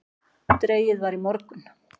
Dregið var í morgun